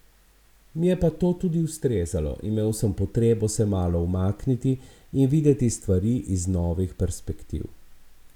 Mi je pa to tudi ustrezalo, imel sem potrebo se malo umakniti in videti stvari iz novih perspektiv.